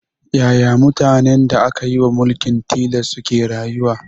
Yaya mutanen da ake wa mulkin tilas suke rayuwa